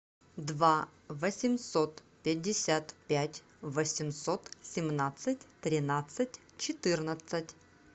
два восемьсот пятьдесят пять восемьсот семнадцать тринадцать четырнадцать